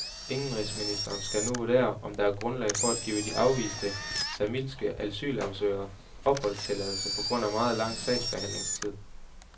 Indenrigsministeriet skal nu vurdere, om der er grundlag for at give de afviste, tamilske asylsøgere opholdstilladelse på grund af meget lang sagsbehandlingstid.